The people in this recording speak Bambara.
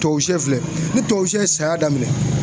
Tubabu siyɛ filɛ ni tubabu siyɛ ye saya daminɛ.